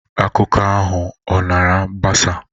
Akụkọ ahụ ọ na-agbasa?